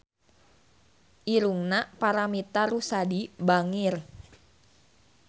Irungna Paramitha Rusady bangir